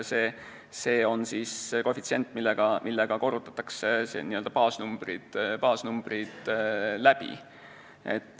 See on koefitsient, millega korrutatakse baasnumbrid läbi.